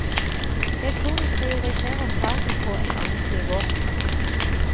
Jeg tror de prioriterer faget på et annet nivå.